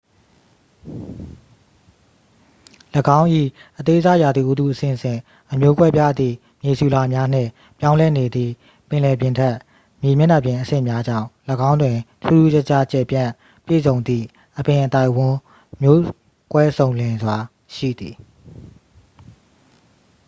၎င်း၏ အသေးစားရာသီဥတုအဆင့်ဆင့် အမျိုးကွဲပြားသည့် မြေဆီလွှာများနှင့် ပြောင်းလဲနေသည့် ပင်လယ်ပြင်ထက်မြေမျက်နှာပြင်အဆင့်များကြောင့် ၎င်းတွင် ထူးထူးခြားခြား ကျယ်ပြန့်ပြည့်စုံသည့် အပင်အသိုက်အဝန်း မျိုးကွဲစုံလင်စွာရှိသည်